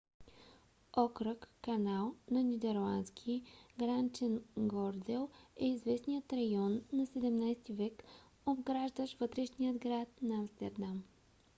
окръг канал на нидерландски: grachtengordel е известният район на 17 - ти век обграждащ вътрешния град на амстердам